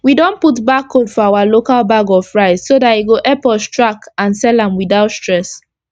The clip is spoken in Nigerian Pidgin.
we don put barcode for our local bag of rice so dat e go epp us track and sell am without stress